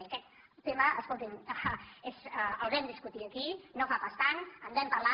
i aquest tema escolti’m el vam discutir aquí no fa pas tant en vam parlar